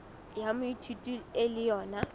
ya moithuti e le yona